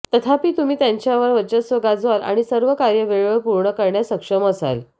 तथापि तुम्ही त्यांच्यावर वर्चस्व गाजवाल आणि सर्व कार्य वेळेवर पूर्ण करण्यात सक्षम असाल